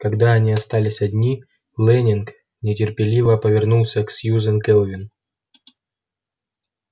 когда они остались одни лэннинг нетерпеливо повернулся к сьюзен кэлвин